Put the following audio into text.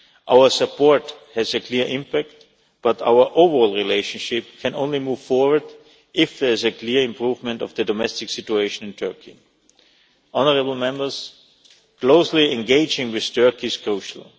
Our support has a clear impact, but our overall relationship can only move forward if there is a clear improvement of the domestic situation in Turkey. Honourable Members, closely engaging with Turkey is crucial.